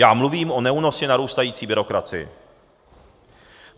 Já mluvím o neúnosně narůstající byrokracii.